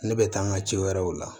Ne bɛ taa n ka ci wɛrɛw la